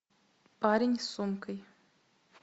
парень с сумкой